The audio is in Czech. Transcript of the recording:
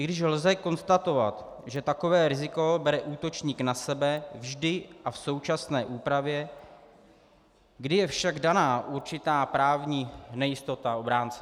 I když lze konstatovat, že takové riziko bere útočník na sebe vždy i v současné úpravě, kdy je však daná určitá právní nejistota obránce.